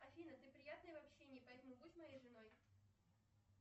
афина ты приятная в общении поэтому будь моей женой